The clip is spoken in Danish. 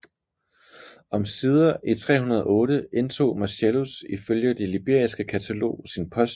Omsider i 308 indtog Marcellus ifølge Det Liberiske Katalog sin post